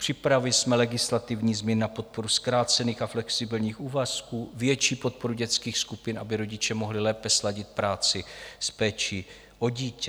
Připravili jsme legislativní změny na podporu zkrácených a flexibilních úvazků, větší podporu dětských skupin, aby rodiče mohli lépe sladit práci s péčí o dítě.